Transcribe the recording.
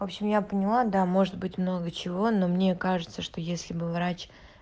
в общем я поняла да может быть много чего но мне кажется что если бы врач